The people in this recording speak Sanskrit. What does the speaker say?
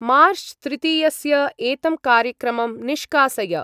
मार्च्-तृतीयस्य एतं कार्यक्रमं निष्कासय।